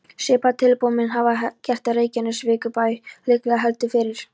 Svipað tilboð mun hann hafa gert Reykjavíkurbæ, líklega heldur fyrr.